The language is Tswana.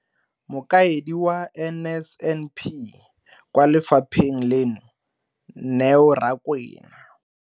Mokaedi wa NSNP kwa lefapheng leno, Neo Rakwena.